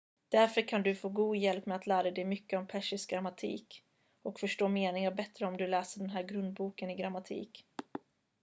därför kan du få god hjälp med att lära dig mycket om persisk grammatik och förstå meningar bättre om du läser den här grundboken i grammatik